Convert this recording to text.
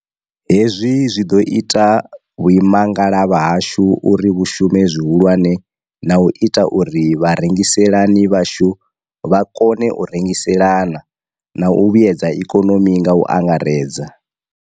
Hezwi zwi ḓo ita vhuimangalavha hashu uri vhu shume zwi hulwane na u ita uri vharengiselani vhashu vha kone u rengiselana, na u vhuedza ikonomi nga u angaredza.